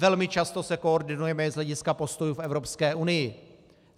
Velmi často se koordinujeme z hlediska postojů v Evropské unii.